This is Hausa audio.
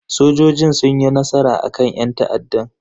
Sojojin sun yi nasara akan yan ta'addan.